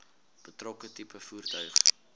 betrokke tipe voertuig